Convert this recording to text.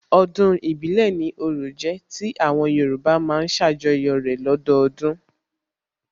Ọdún ìbílẹ̀ ni orò jẹ́ tí àwọn Yorùbá má ń ṣàjọyọ̀ rẹ̀ lọ́dọdún